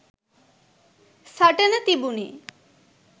සටන තිබුනෙ